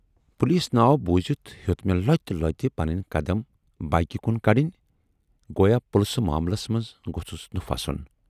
Police ناو بوٗزِتھ ہیوت مے لۅتہِ لۅتہِ پنٕنۍ قدم بایکہِ کُن کَڈٕنۍ گویا پُلسہٕ معاملس منز گوژھُس نہٕ پھسُن۔